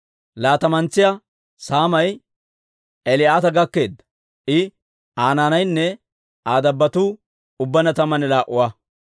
Laatamantsa saamay Eli'aata gakkeedda; I, Aa naanaynne Aa dabbotuu ubbaanna tammanne laa"a.